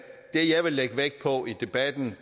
det jeg vil lægge vægt på i debatten